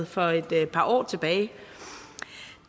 for et par år tilbage